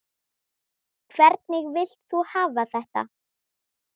Hvernig vilt þú hafa þetta?